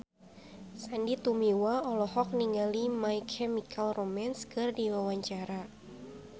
Sandy Tumiwa olohok ningali My Chemical Romance keur diwawancara